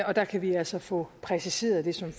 og der kan vi altså få præciseret det som